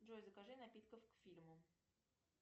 джой закажи напитков к фильму